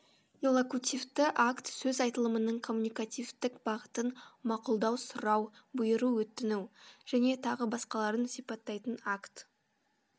иллокутивті акт сөз айтылымының коммуникативтік бағытын мақұлдау сұрау бұйыру өтіну және тағы басқаларын сипаттайтын акт